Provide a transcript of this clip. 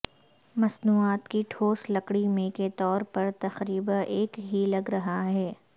مصنوعات کی ٹھوس لکڑی میں کے طور پر تقریبا ایک ہی لگ رہا ہے